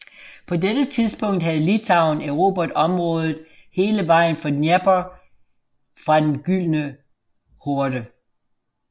På dette tidspunkt havde Litauen erobret området hele vejen til Dnepr fra Den Gyldne Horde